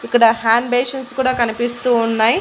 ఇక్కడ hand basins కూడా కనిపిస్తూ ఉన్నాయి.